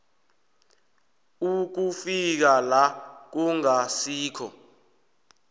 ukufika la kungasilo